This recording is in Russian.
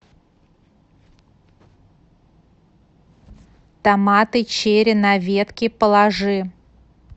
томаты черри на ветке положи